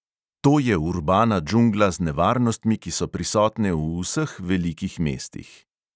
To je urbana džungla z nevarnostmi, ki so prisotne v vseh velikih mestih.